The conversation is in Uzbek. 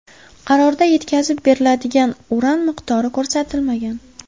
Qarorda yetkazib beriladigan uran miqdori ko‘rsatilmagan.